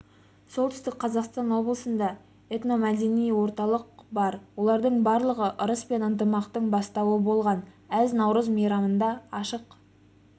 солтүстік қазақстан облысында этномәдени орталық бар олардың барлығы ырыс пен ынтымақтың бастауы болған әз-наурыз мейрамында ашық